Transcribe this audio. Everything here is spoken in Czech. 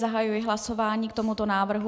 Zahajuji hlasování k tomuto návrhu.